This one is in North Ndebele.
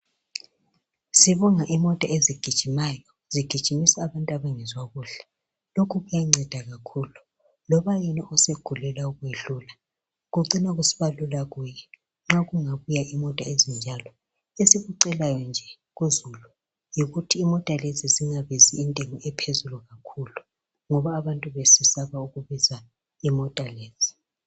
Sibonga imota ezigijimayo zigijimisa abantu abangezwa kuhle. Lokhu kuyanceda kakhulu. Loba yena osegulela ukwedlula, kucina kusiba lula kuyenxa kungabuya imota ezinjalo. Esikucelayo nje kuzulu yikuthi imota lezi zingabizi intengo ephezulu kakhulu. Ngoba abantu besesaba ukubiza imota lezi.